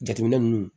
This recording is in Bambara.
Jateminɛ ninnu